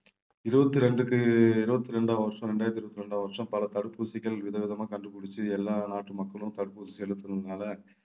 இருபத்தி ரெண்டுக்கு இருபத்தி இரண்டாம் வருஷம் இரண்டாயிரத்தி இருபத்தி இரண்டாம் வருஷம் பல தடுப்பூசிகள் விதவிதமா கண்டுபிடிச்சு எல்லா நாட்டு மக்களும் தற்போது செலுத்தினதுனால